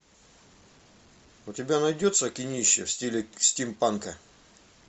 у тебя найдется кинище в стиле стимпанка